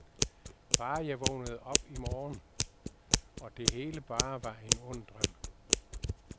Bare jeg vågnede op i morgen, og det hele bare var en ond drøm.